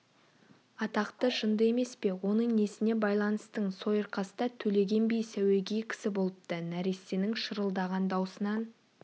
атақты жынды емес пе оның несіне байланыстың сойырқаста төлеген би сәуегей кісі болыпты нәрестенің шырылдаған даусынан